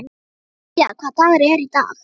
Nadia, hvaða dagur er í dag?